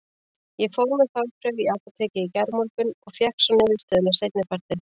Ég fór með þvagprufu í apótekið í gærmorgun og fékk svo niðurstöðuna seinni partinn.